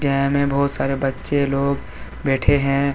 में बहुत सारे बच्चे लोग बैठे हैं।